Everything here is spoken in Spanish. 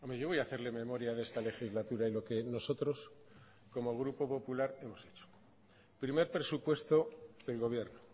yo voy a hacerle memoria de esta legislatura y lo que nosotros como grupo popular hemos hecho primer presupuesto del gobierno